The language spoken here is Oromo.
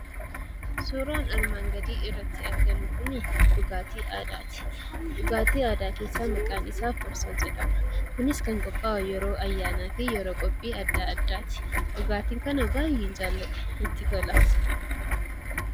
Suuraan armaan gadii irratti argamu kuni dhugaatii aadaati. Dhugaatii aadaa keessaa maqaan isaa 'Farsoo' jedhama. Kunis kan qophaa'u yeroo ayyaanaa fi yeroo qophii adda addaa ti. Dhugaatii kana baay'een jaalladha; natti tola.